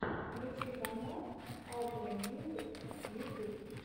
включи канал алтрэ мьюзик ютюб